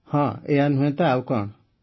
ହଁ ଏଇୟା ନୁହେଁ ତ ଆଉ କଣ